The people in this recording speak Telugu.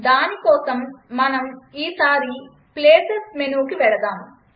దానికోసం మనం ఈ సారి ప్లేసెస్ మెనూకి వెళదాం